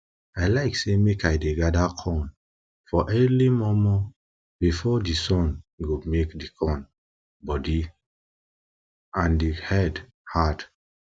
i like say make i dey gather corn for early mor mor before di sun go make di corn body and di head hard